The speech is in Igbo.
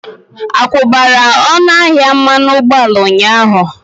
Akwubara ọnụ ahịa mmanụ ụgbọala ụnyaahụ?